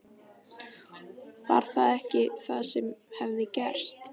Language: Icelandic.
Var það ekki það sem hafði gerst?